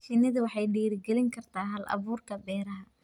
Shinnidu waxay dhiirigelin kartaa hal-abuurka beeraha.